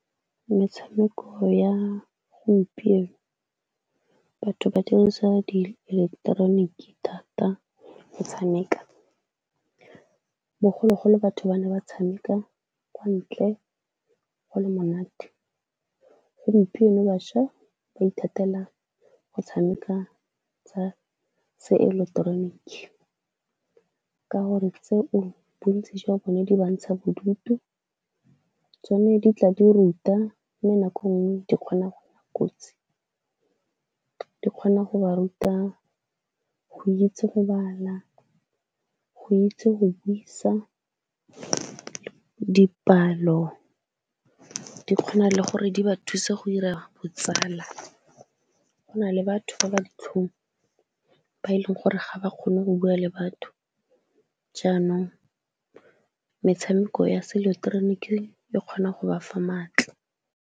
Metshameko ya gompieno batho ba dirisa dieleketeroniki thata go tshameka. Bogologolo batho ba ne ba tshameka kwa ntle go le monate. Gompieno bašwa ba ithatela go tshameka tsa seeleketeroniki ka gore tseo bontsi jwa bone di ba ntsha bodutu, tsone di tla di ruta mme nako nngwe di kgona go nna kotsi, di kgona go ba ruta go itse go bala, go itse go buisa, dipalo, di kgona le gore di ba thuse go dira botsala, go na le batho ba ba ditlhong, ba e leng gore ga ba kgone go bua le batho jaanong metshameko ya seeleketeroniki e kgona go ba fa maatla.